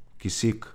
Kisik.